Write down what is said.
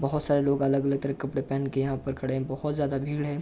बोहोत सारे लोग अलग-अलग तरह के कपड़े पहन के यहां पे खड़े हैं। बोहोत ज्यादा भीड़ हैं।